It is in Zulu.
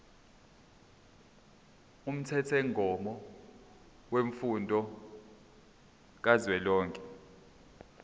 umthethomgomo wemfundo kazwelonke